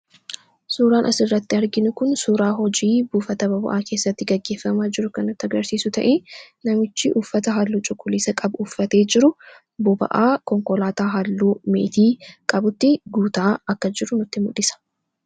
Suuraan as irratti arginuu kun suuraa hojii buufata boba'aa keessatti gaggeeffamaa jiru kan nutii agarsiisu ta'e namichi uuffata haalluu cuqulisaa qabu uuffatee jiru boba'aa konkolaataa halluu meetii qabutti guutaa akka jiru nutti muldhisa.